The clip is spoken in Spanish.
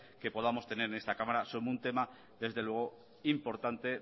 que podamos tener en esta cámara es un tema desde luego importante